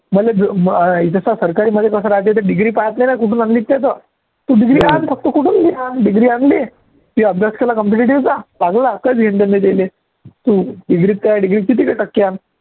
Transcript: मले जो अं अं जसा सरकारीमध्ये कसा degree pass नाही ना तू degree आण फक्त कुठून बी आण degree आणली की अभ्यास केला competitive चा चांगला की तू degree त काय degree त किती बी टक्के आण